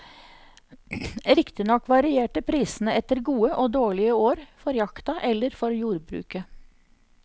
Riktignok varierte prisene etter gode og dårlige år for jakta eller for jordbruket.